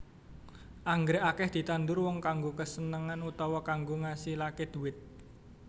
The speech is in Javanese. Anggrèk akèh ditandur wong kanggo kasenengan utawa kanggo ngasilaké dhuwit